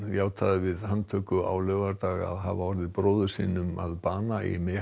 játaði við handtöku á laugardag að hafa orðið bróður sínum að bana í